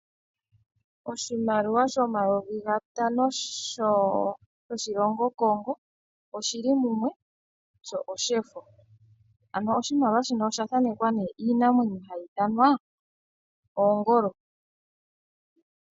Oshimaliwa shomayovi gatano shoshilongo Congo, oshi li mumwe sho oshefo. Ano oshimaliwa shino osha thaanekwa nee iinamwenyo hayi ithanwa oongolo.